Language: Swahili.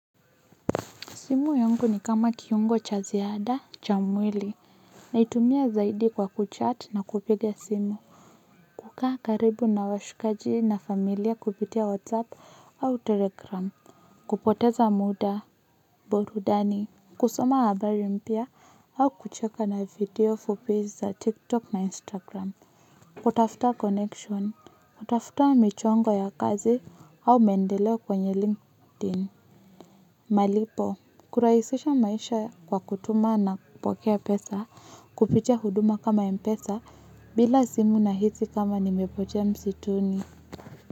Simu yungu ni kama kiungo cha ziada cha mwili. Naitumia zaidi kwa kuchat na kupiga simu. Kukaa karibu na washikaji na familia kupitia Whatsapp au Telegram. Kupoteza muda, burudani, kusoma habari mpya au kucheka na video fupi za TikTok na Instagram. Watafuta connection, watafuta michongo ya kazi au maendeleo kwenye LinkedIn, malipo, kurahisisha maisha kwa kutuma na kupokea pesa. Kuficha huduma kama ya pesa bila simu nahisi kama nimepotea msituni.